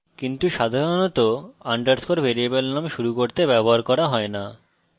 কিন্তু সাধারণত underscore variable name শুরু করতে ব্যবহার করা হয় না